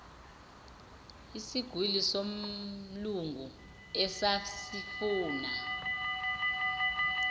isigwili somlungu esasifuna